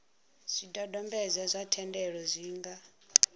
zwidodombedzwa zwa thendelo zwi nga